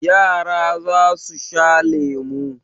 Yara za su sha lemu.